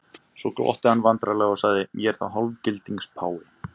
Svo glotti hann vandræðalega og sagði: Ég er þá hálfgildings páfi?